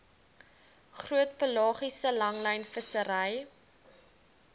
groot pelagiese langlynvissery